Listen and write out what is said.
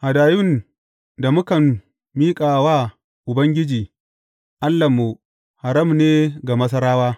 Hadayun da mukan miƙa wa Ubangiji, Allahnmu haram ne ga Masarawa.